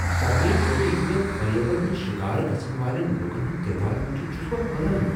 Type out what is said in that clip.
سرمایہ کٲری ہٕندین فریبن ہند شکار گژھن والین لوکن ہند تعداد وچھتھ چھس بہٕ حیران۔